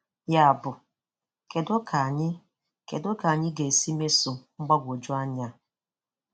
Yabụ, kedu ka anyị kedu ka anyị ga-esi mesoo mgbagwoju anya a?